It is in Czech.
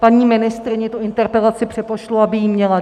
Paní ministryni tu interpelaci přepošlu, aby ji měla.